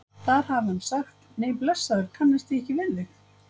Þar hafi hann sagt: Nei blessaður, kannast ég ekki við þig?